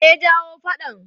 Me ya jawo faɗan?